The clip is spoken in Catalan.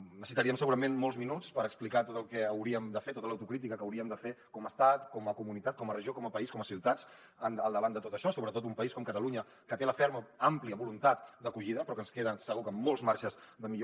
necessitaríem segurament molts minuts per explicar tot el que hauríem de fer tota l’autocrítica que hauríem de fer com a estat com a comunitat com a regió com a país com a ciutats al davant de tot això sobretot un país com catalunya que té la ferma àmplia voluntat d’acollida però que ens queden segur que molts marges de millora